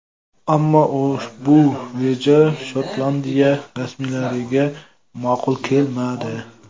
Ammo ushbu reja Shotlandiya rasmiylariga ma’qul kelmadi.